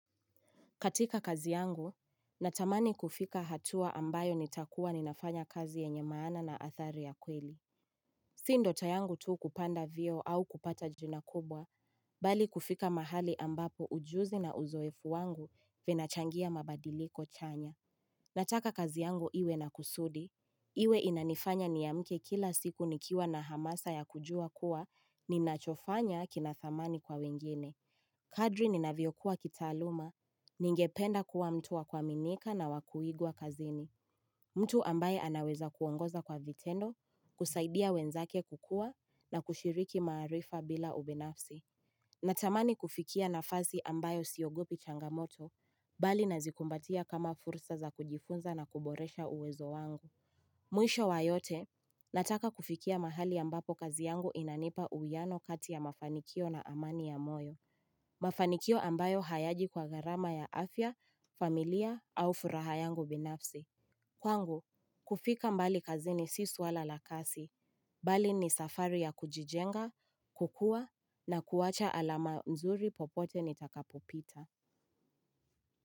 Katika kazi yangu, natamani kufika hatua ambayo nitakuwa ninafanya kazi yenye maana na athari ya kweli. Sindota yangu tu kupanda vieo au kupata jina kubwa, bali kufika mahali ambapo ujuzi na uzoefu wangu vinachangia mabadiliko chanya. Nataka kazi yangu iwe na kusudi, iwe inanifanya niamke kila siku nikiwa na hamasa ya kujua kuwa, ninachofanya kinathamani kwa wengine. Kadri ni naviyokuwa kitaaluma, ningependa kuwa mtu wakwaminika na wakuigwa kazini. Mtu ambaye anaweza kuongoza kwa vitendo, kusaidia wenzake kukua na kushiriki maarifa bila ubinafsi. Natamani kufikia nafasi ambayo siogopi changamoto, mbali nazikumbatia kama fursa za kujifunza na kuboresha uwezo wangu. Mwisho wa yote, nataka kufikia mahali ambapo kazi yangu inanipa uiano kati ya mafanikio na amani ya moyo. Mafanikio ambayo hayaji kwa garama ya afya, familia au furaha yangu binafsi Kwangu, kufika mbali kazini si suala la kasi Bali ni safari ya kujijenga, kukua na kuwacha alama mzuri popote nitakapopita.